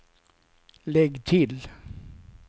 lägg till